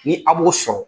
Ni a b'o sɔrɔ